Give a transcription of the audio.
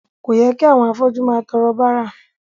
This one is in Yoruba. Kò yẹ kí àwọn afọ́jú máa tọrọ bárà.